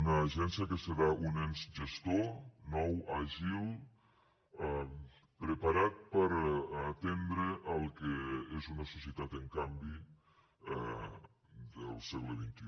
una agència que serà un ens gestor nou àgil preparat per atendre el que és una societat en canvi del segle xxi